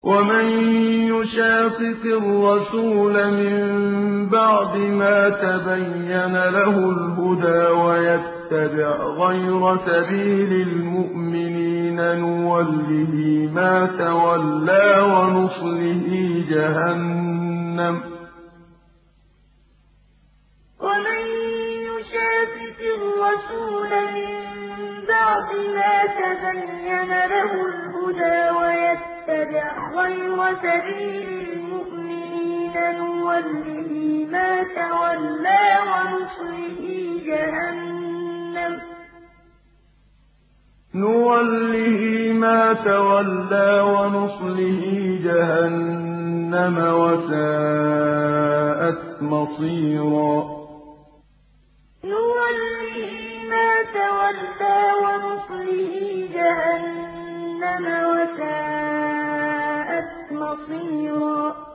وَمَن يُشَاقِقِ الرَّسُولَ مِن بَعْدِ مَا تَبَيَّنَ لَهُ الْهُدَىٰ وَيَتَّبِعْ غَيْرَ سَبِيلِ الْمُؤْمِنِينَ نُوَلِّهِ مَا تَوَلَّىٰ وَنُصْلِهِ جَهَنَّمَ ۖ وَسَاءَتْ مَصِيرًا وَمَن يُشَاقِقِ الرَّسُولَ مِن بَعْدِ مَا تَبَيَّنَ لَهُ الْهُدَىٰ وَيَتَّبِعْ غَيْرَ سَبِيلِ الْمُؤْمِنِينَ نُوَلِّهِ مَا تَوَلَّىٰ وَنُصْلِهِ جَهَنَّمَ ۖ وَسَاءَتْ مَصِيرًا